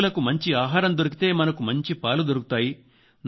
పశువులకు మంచి ఆహారం దొరికితే మనకు మంచి పాలు దొరుకుతాయి